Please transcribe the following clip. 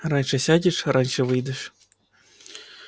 раньше сядешь раньше выйдешь